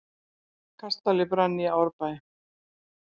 Kastali brann í Árbæ